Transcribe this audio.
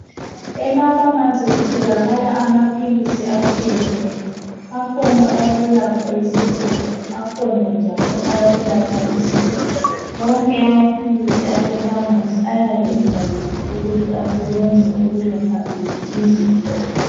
Emapharmacy kutholakala amaphilisi atshiyeneyo. Akhona awokwelapha isifuba. Akhona njalo awokwelapha isisu. Wonke amaphilisi asepharmacy, ayabe ebhaliwe, ukuthi asebenza ukwelalapha ziphi izifo.